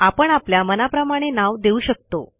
आपण आपल्या मनाप्रमाणे नाव देऊ शकतो